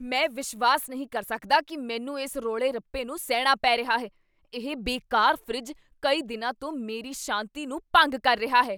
ਮੈਂ ਵਿਸ਼ਵਾਸ ਨਹੀਂ ਕਰ ਸਕਦਾ ਕੀ ਮੈਨੂੰ ਇਸ ਰੌਲੇ ਰੱਪੇ ਨੂੰ ਸਹਿਣਾ ਪੈ ਰਿਹਾ ਹੈ, ਇਹ ਬੇਕਾਰ ਫਰਿੱਜ ਕਈ ਦਿਨਾਂ ਤੋਂ ਮੇਰੀ ਸ਼ਾਂਤੀ ਨੂੰ ਭੰਗ ਕਰ ਰਿਹਾ ਹੈ!